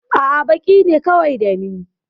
A'a, baƙi ne kawai da ni.